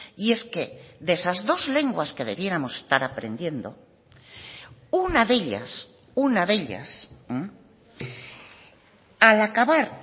y es que de esas dos lenguas que debiéramos estar aprendiendo una de ellas una de ellas al acabar